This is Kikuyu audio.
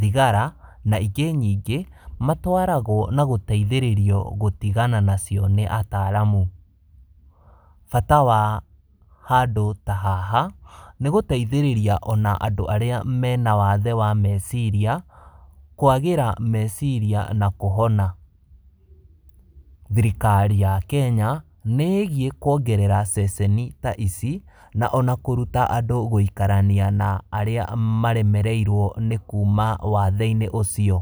thigara na ingĩ nyingĩ matwaragwo na gũteithĩrĩrio gũtigana nacio nĩ ataalamu. Bata wa handũ ta haha, nĩgũteithĩrĩria ona andũ arĩa mena wathe wa meciria, kwagĩra meciria na kũhona. Thirikari ya Kenya nĩ ĩgiĩ kuongerera ceceni ta ici na ona kũruta andũ gũikarania na arĩa maremereirwo nĩ kuma wathe-inĩ ũcio.